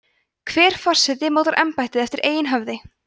hver forseti mótar embættið eftir eigin höfði